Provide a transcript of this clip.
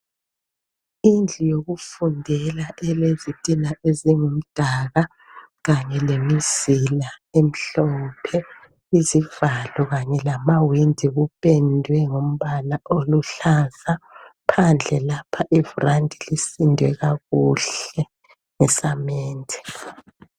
Indlu yokufundela elezitina ezingumdaka kanye lemizila emhlophe. Izivalo kanye lamawindi kupendwe ngombala oluhlaza .Phandle lapha i"Veranda" lisindwe kakuhle ngesamende.